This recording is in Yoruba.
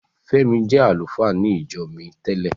Fẹ́mi jẹ́ àlùfáà ní ìjọ mi tẹ́lẹ̀.